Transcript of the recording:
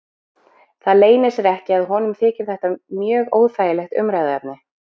Það leynir sér ekki að honum þykir þetta mjög óþægilegt umræðuefni.